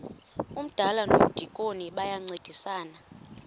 umdala nomdikoni bayancedisana